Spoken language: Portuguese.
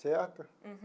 Certo? Uhum.